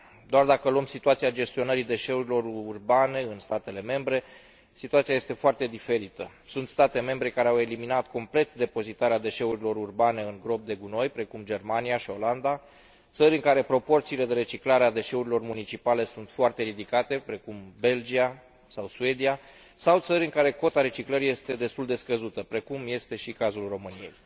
Doar dacă luăm situația gestionării deșeurilor urbane în statele membre, situația este foarte diferită. Sunt state membre care au eliminat complet depozitarea deșeurilor urbane în gropi de gunoi, precum Germania și Olanda, țări în care proporția de reciclare a deșeurilor municipale sunt foarte ridicate, precum Belgia sau Suedia, sau țări în care cota reciclării este destul de scăzută, precum este și cazul României.